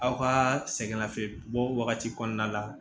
Aw ka sɛgɛnnafiɲɛbɔ bɔ wagati kɔnɔna la